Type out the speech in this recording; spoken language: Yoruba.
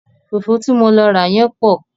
Fùfú ti mo lọ rà yẹ́n pọ̀.